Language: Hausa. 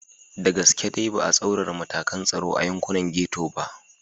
Da gaske dai ba a tsaurara matakan tsaro a yankunan Getto ba.